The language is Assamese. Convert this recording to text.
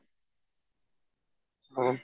অ